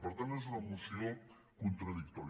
per tant és una moció contradictòria